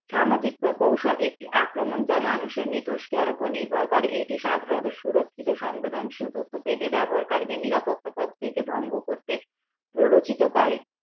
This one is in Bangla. সামাজিক প্রকৌশল একটি আক্রমণ যা মানুষের এর ওপর নির্ভর করে এটি সাধারণত সুরক্ষিত সংবেদন শীল তথ্য পেতে ব্যবহার কারীদের নিরাপত্তা প্রদান করতে প্ররোচিত করে